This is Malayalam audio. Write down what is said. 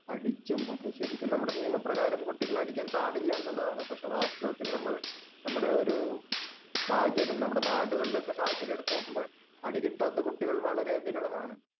അടിക്കും ഒക്കെ. ശരിക്കും നമ്മുടെ നിയമപ്രകാരം കുട്ടികളെ അടിക്കാൻ പാടില്ല എന്നുള്ളതാണ്. പക്ഷേ വാസ്തവത്തിൽ നമ്മൾ നമ്മുടെ ഒരു സാഹചര്യം, നമ്മുടെ നാടുകളിലൊക്കെ സാഹചര്യം എടുത്ത് നോക്കുമ്പോൾ അടി കിട്ടാത്ത കുട്ടികൾ വളരെ വിരളമാണ്.